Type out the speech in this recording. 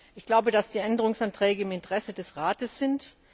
Ich glaube, dass die Änderungsanträge im Interesse des Rates